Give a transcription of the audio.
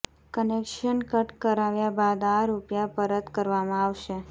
connection cut કરાવ્યા બાદ આ રૂપિયા પરત કરવામાં આવશે